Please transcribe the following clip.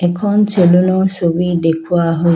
এখন চেলুনৰ ছবি দেখুওৱা হৈছে।